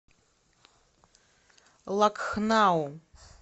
лакхнау